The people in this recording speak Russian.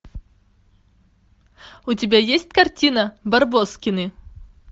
у тебя есть картина барбоскины